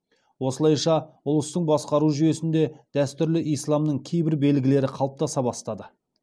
осылайша ұлыстың басқару жүйесінде дәстүрлі исламның кейбір белгілері қалыптаса бастады